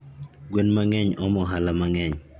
Gwen mangeny omo ohala mangeny